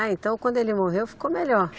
Ah, então quando ele morreu ficou melhor?